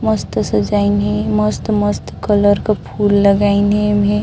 मस्त सजाइन हे मस्त-मस्त कलर क फूल लगाइन हे।